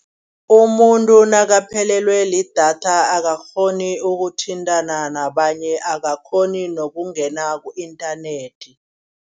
Umuntu nakaphelelwe lidatha akakghoni ukuthintana nabanye. Akakghoni nokungena ku-inthanethi.